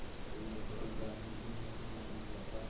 रेत के कारण ही नहीं जाना जाता